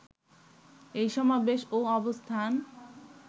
এই সমাবেশ ও অবস্থান